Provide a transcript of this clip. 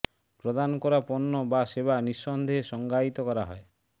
প্রদান করা পণ্য বা সেবা নিঃসন্দেহে সংজ্ঞায়িত করা হয়